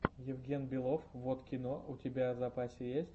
евгенбелов воткино у тебя в запасе есть